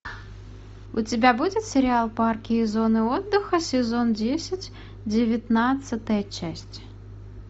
у тебя будет сериал парки и зоны отдыха сезон десять девятнадцатая часть